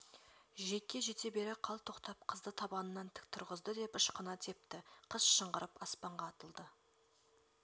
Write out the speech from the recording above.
жиекке жете бере қалт тоқтап қызды табанынан тік тұрғызды деп ышқына тепті қыз шыңғырып аспанға атылды